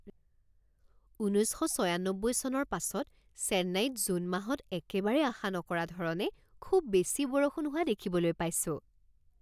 ঊনৈছ শ ছয়ান্নব্বৈ চনৰ পাছত চেন্নাইত জুন মাহত একেবাৰে আশা নকৰা ধৰণে খুব বেছি বৰষুণ হোৱা দেখিবলৈ পাইছোঁ